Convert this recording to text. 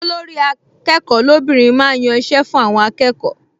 Olórí-akẹ́kọ̀ọ́ lóbìnrin máa ń yan iṣẹ́ fún àwọn akẹ́kọ̀ọ